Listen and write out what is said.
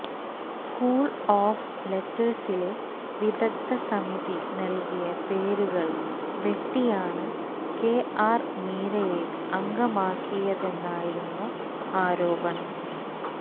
school of ലെറ്റേഴ്സിലെ വിദഗ്ധ സമിതി നല്കിയ പേരുകള് വെട്ടിയാണ് കെ ആര് മീരയെ അംഗമാക്കിയതെന്നായിരുന്നു ആരോപണം